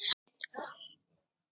Átti þetta að heita ást?